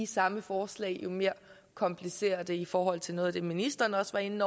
samme forslag jo mere komplicerer det i forhold til noget af det ministeren også var inde